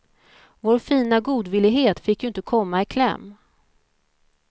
Vår fina godvillighet fick ju inte komma i kläm.